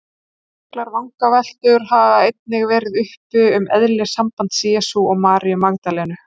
Miklar vangaveltur hafa einnig verið uppi um eðli sambands Jesú og Maríu Magdalenu.